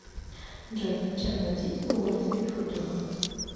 джой чем платить в уоллис и футуна